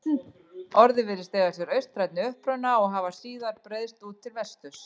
Orðið virðist eiga sér austrænni uppruna og hafa síðar breiðst út til vesturs.